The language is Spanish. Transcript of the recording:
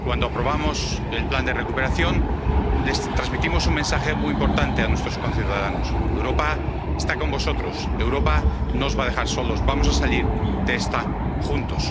Cuando aprobamos el Plan de Recuperación de la UE, les transmitimos un mensaje muy importante a nuestros conciudadanos Europa está con vosotros, Europa no os va a dejar solos, vamos a salir de esta juntos.